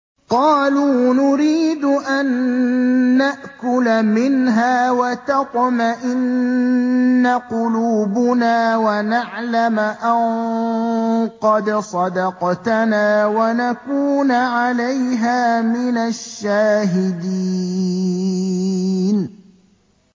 قَالُوا نُرِيدُ أَن نَّأْكُلَ مِنْهَا وَتَطْمَئِنَّ قُلُوبُنَا وَنَعْلَمَ أَن قَدْ صَدَقْتَنَا وَنَكُونَ عَلَيْهَا مِنَ الشَّاهِدِينَ